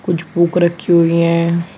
कुछ बुक रखी हुई है।